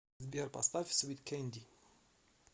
сбер поставь свит кенди